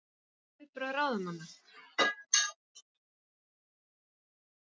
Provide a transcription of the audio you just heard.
En hver eru viðbrögð ráðamanna?